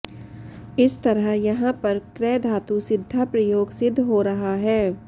इस तरह यहाँ पर कृ धातु सिद्धाप्रयोग सिद्ध हो रहा है